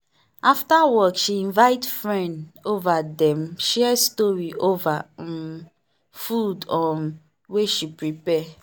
after work she invite friend over dem share story over um food um wey she prepare.